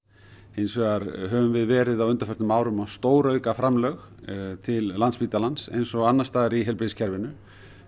hins vegar höfum við verið á undanförnum árum að stórauka framlög til Landspítalans eins og annars staðar í heilbrigðiskerfinu